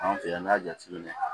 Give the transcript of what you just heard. Anw fɛ yan n'i y'a jateminɛ